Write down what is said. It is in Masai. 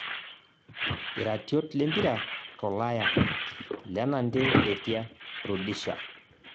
Iratiot lempira tolaya; lenante Letia, Rudisha